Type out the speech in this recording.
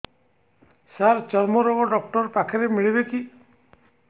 ସାର ଚର୍ମରୋଗ ଡକ୍ଟର ପାଖରେ ମିଳିବେ କି